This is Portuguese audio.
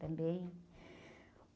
Também.